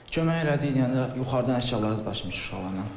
Kömək elədik deyəndə yuxarıdan əşyaları daşımışıq uşaqlarla.